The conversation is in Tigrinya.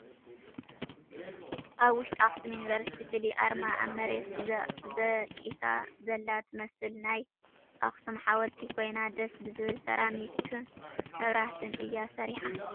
ኣብ ውሽጢ ኣክሱም ዩኒቨርስቲ ፍልይ ኣርማ ኣብ መሬት ዘቂሳ ዘላ ትመስል ናይ ኣክሱም ሓወልቲ ኮይና ደስ ብዝብል ስራሚክን መብራሕትን እያ ሰሪሓ።